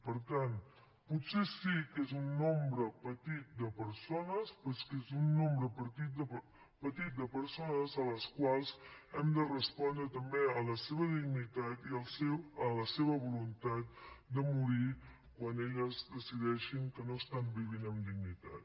per tant potser sí que és un nombre petit de persones però és que és un nombre petit de persones a les quals hem de respondre també a la seva dignitat i a la seva voluntat de morir quan elles decideixin que no estan vivint amb dignitat